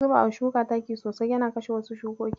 Zubawa shuka taki sosai yana kashe wasu shukokin.